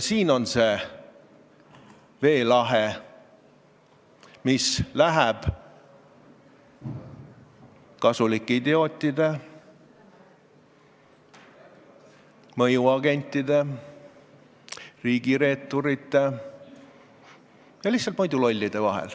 Siin on see veelahe, mis läheb kasulike idiootide, mõjuagentide, riigireeturite ja lihtsalt muidu lollide vahel.